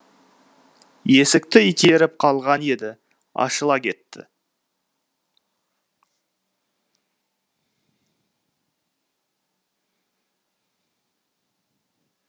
есікті итеріп қалған еді ашыла кетті